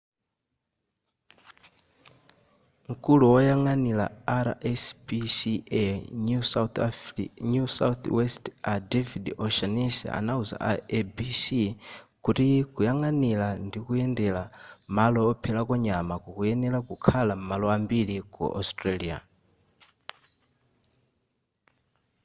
mkulu woyang'anira rspca new south west a david o'shannessy anauza a abc kuti kuyang'anira ndikuyendera malo opherako nyama kukuyenera kukhala m'malo ambiri ku australia